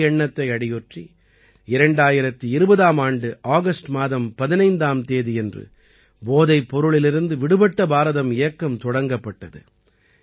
இந்த எண்ணத்தை அடியொற்றி 2020ஆம் ஆண்டு ஆகஸ்ட் மாதம் 15ஆம் தேதியன்று போதைப் பொருளிலிருந்து விடுபட்ட பாரதம் இயக்கம் தொடங்கப்பட்டது